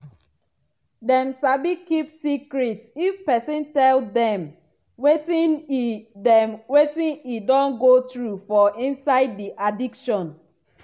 dem sabi keep secret if pesin tell dem wetin e dem wetin e don go through for inside di addiction.